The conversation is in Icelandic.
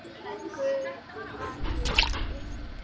Guð vaki yfir ykkur öllum.